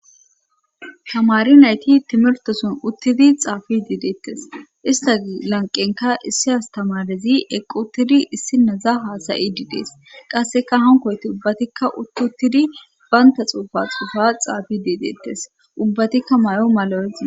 tamari nayti timirtoson uttidi xaafi diideettes ista lanqenka issi astamarizi eqquttidi issi naza haasayi diidees qasseka hankoyti ubbatikka uttutidi baynta xuufa xuufa xaafi diideettes ubbatikka may7o malo7ezia